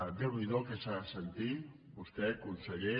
déu n’hi do el que ha de sentir vostè conseller